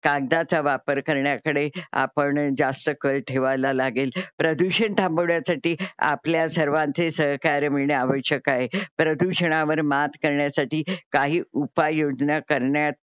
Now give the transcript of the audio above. कागदाचा वापर करण्याकडे आपण जास्त कल ठेवायला लागेल. प्रदूषण थांबवण्यासाठी आपल्या सर्वांचे सहकार्य मिळणे आवशक आहे. प्रदूषणावर मात करण्यासाठी काही उपाय योजना करण्यात